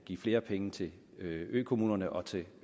give flere penge til økommunerne og til